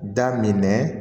Da minɛ